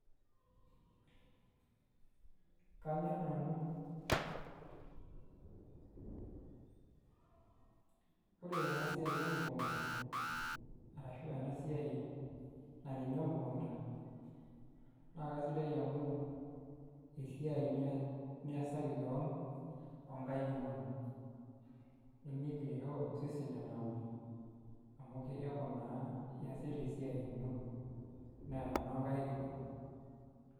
Kanyorr nanu ore ena siai emukunda arashu ena siai nairemi emukunda naa kasidai amu esiai niasaki keon ookaik inonok nemiigil aisho osesen enauru amu eeku naa iasita esiai ino naa enoonkaik inonok.